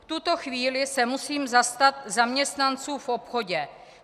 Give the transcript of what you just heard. V tuto chvíli se musím zastat zaměstnanců v obchodě.